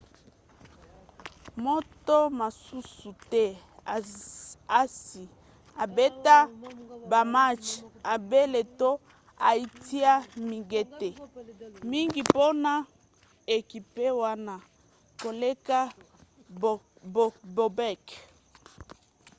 moto mosusu te asi abeta bamatch ebele to atia mingete mingi mpona ekipe wana koleka bobek